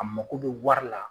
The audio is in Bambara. A mako bɛ wari la.